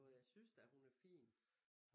Jeg synes da hun er fin